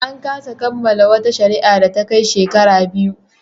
An kasa kammala wata shari'a da ta kai shekara biyu.